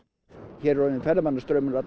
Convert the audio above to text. hér er orðinn ferðamannastraumur